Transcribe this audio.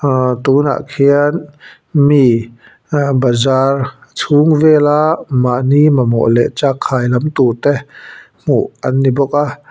ahh tunah khian mi aa bazar chhung vela mahni mamawh leh chakkhai lam tur te hmuh an ni bawk a--